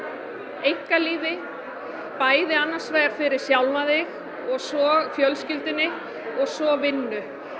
einkalífi bæði annars vegar fyrir sjálfa þig og svo fjölskylduna og svo vinnu